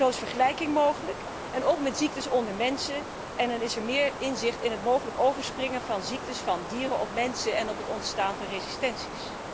Zo is vergelijking mogelijk, ook met ziektes bij mensen, en dan is er meer inzicht in het mogelijk overspringen van ziektes van dieren op mensen en op het ontstaan van resistenties.